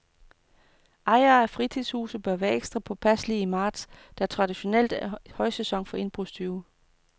Ejere af fritidshuse bør være ekstra påpasselige i marts, der traditionelt er højsæson for indbrudstyve.